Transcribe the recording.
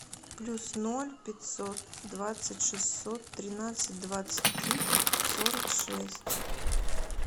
плюс ноль пятьсот двадцать шестьсот тринадцать двадцать три сорок шесть